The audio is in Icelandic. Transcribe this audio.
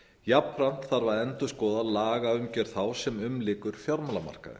jafnframt þarf að endurskoða lagaumgjörð þá sem umlykur fjármálamarkaðinn